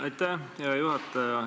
Aitäh, hea juhataja!